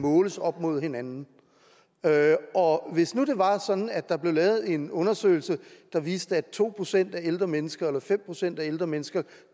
måles op mod hinanden hvis nu det var sådan at der blev lavet en undersøgelse der viste at to procent af ældre mennesker eller fem procent af ældre mennesker